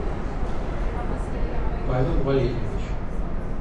павел валерьевич